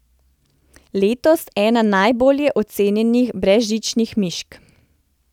Letos ena najbolje ocenjenih brezžičnih mišk.